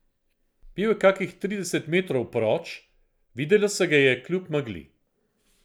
Bil je kakih trideset metrov proč, videlo se ga je kljub megli.